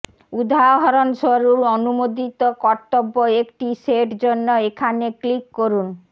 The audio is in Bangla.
উদাহরণস্বরূপ অনুমোদিত কর্তব্য একটি সেট জন্য এখানে ক্লিক করুন